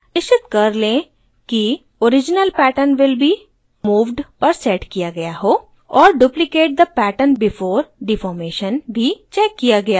निश्चित कर लें कि